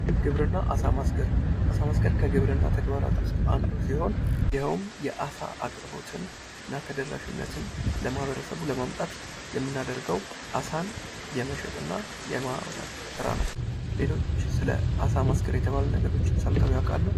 ግብርና አሳ ማስገር አሳ ማስገር ከግብርና አንዱ ሲሆን ይሄውም የአሳ አቅርቦትን እና ተደራሽነትን ለማህበረሰቡ ለማምጣት የምናደርገው አሳን የመሸጥ እና የማውጣት ስራ ነው። ሌሎች ስለ አሳ ማስገር የተባሉ ነገሮችን ሰምተው ያውቃሉ?